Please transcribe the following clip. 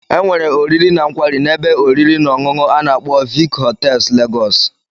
Enwere oriri na nkwari na ebe oriri na onunu ana agbo Vic hotels Lagos.